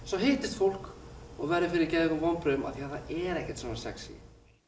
svo hittist fólk og verður fyrir geðveikum vonbrigðum því það er ekkert svona sexí